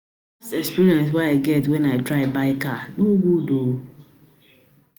experience wey I get wen I try buy car no good um